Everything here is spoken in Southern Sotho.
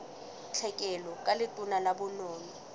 tlhekelo ka letona la bonono